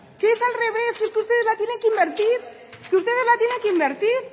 que es que ustedes la tienen que invertir ustedes la tienen que invertir